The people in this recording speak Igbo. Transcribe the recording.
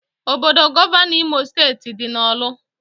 Obodo Gọvanọ Imo steeti dị na orlu